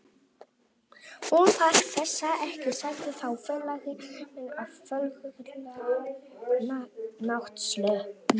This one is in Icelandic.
Hún þarf þessa ekki sagði þá félagi minn á fölgula náttsloppnum.